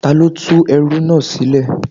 Ta ló tú ẹrú náà sílẹ̀?